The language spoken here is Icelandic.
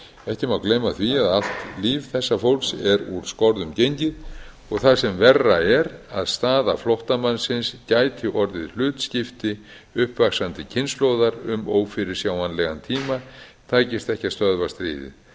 ekki má gleyma því að allt líf þessa fólks er úr skorðum gengið og það sem verra er að staða flóttamannsins gæti orðið hlutskipti uppvaxandi kynslóðar um ófyrirsjáanlegan tíma takist ekki að stöðva stríðið